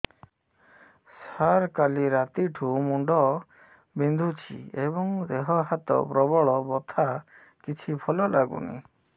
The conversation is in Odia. ସାର କାଲି ରାତିଠୁ ମୁଣ୍ଡ ବିନ୍ଧୁଛି ଏବଂ ଦେହ ହାତ ପ୍ରବଳ ବଥା କିଛି ଭଲ ଲାଗୁନି